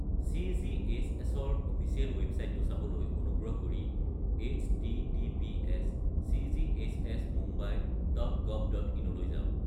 চি.জি.এইচ.এছ.-ৰ official ৱেবচাইটটো চাবলৈ অনুগ্ৰহ কৰি এইচ.টি.টি.পি.এছ.://চি.জি.এইচ.এছ.মুম্বাই ডট গভ ডট ইন/ -লৈ যাওক।